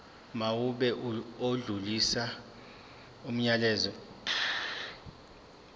mawube odlulisa umyalezo